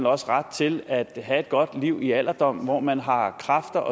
også ret til at have et godt liv i alderdommen hvor man har kræfter